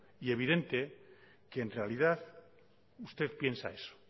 y evidente que en realidad usted piensa eso